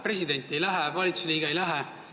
President ei lähe, valitsuse liige ei lähe.